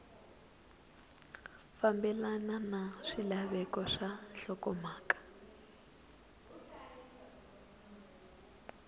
fambelana na swilaveko swa nhlokomhaka